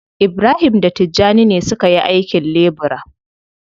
Ibrahim da Tijjani ne suka yi aikin lebura.